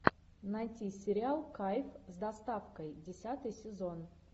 найти сериал кайф с доставкой десятый сезон